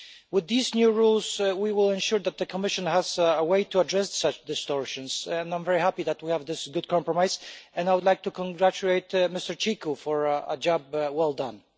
With these new rules, we will ensure that the Commission has a way to address such distortions, and I am very happy that we have this good compromise and I would like to congratulate Mr Cicu for a job well done.